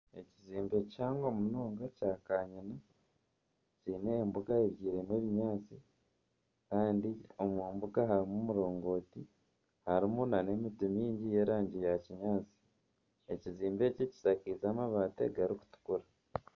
Ekizimbe kihango munonga kya' kanyina Kiine embuga ebyiremu ebinyaatsi Kandi omumbuga harimu omurongoti, harimu n'emiti mingi y'erangi ya kinyaatsi. Ekizimbe eki kishakiize amabati garikutukura.